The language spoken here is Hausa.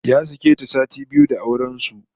Ya sake ta sati biyu da auren su